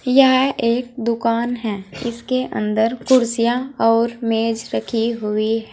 यह एक दुकान है इसके अंदर कुर्सियां और मेज रखी हुई है।